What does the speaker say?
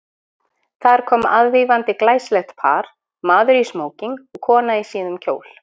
Þar kom aðvífandi glæsilegt par, maður í smóking og kona í síðum kjól.